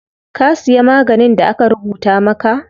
Ka siya maganin da aka rubuta maka?